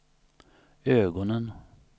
ögonen